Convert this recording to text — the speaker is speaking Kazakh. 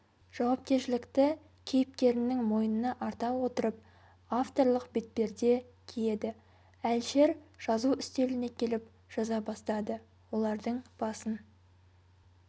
жауапкершілікті кейіпкерінің мойнына арта отырып авторлық бетперде киеді әлішер жазу үстеліне келіп жаза бастады олардың басын